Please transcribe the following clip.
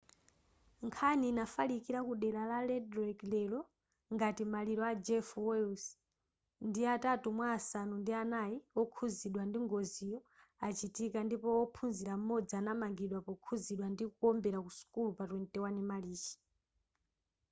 nkhani inafalikila ku dera la red lake lero ngati maliro a jeff weiss ndi atatu mwa asanu ndi anai okhuzidwa ndi ngoziyo achitika ndipo wophunzila m'modzi anamangidwa pokhuzidwa ndi kuombera ku sukulu pa 21 marichi